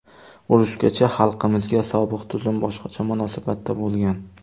Urushgacha xalqimizga sobiq tuzum boshqacha munosabatda bo‘lgan.